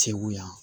Segu yan